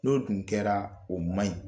N'o dun kɛra, o maɲi.